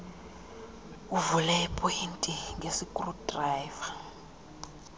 uvule iipoyinti ngeskrudrayiva